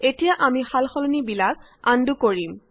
এতিয়া আমি সাল সলনিখিনি আন্ডু কৰিম